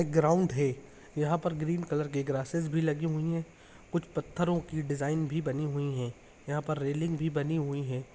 Ground है। यहाँ पर ग्रीन कलर की ग्रासेस भीं लगी हुई है। कुछ पत्थरो की डिज़ाइन भी बनी हुई है। यहाँ पर रेलिंग भी बनी हुई है।